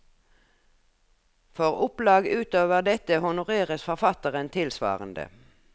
For opplag utover dette honoreres forfatteren tilsvarende.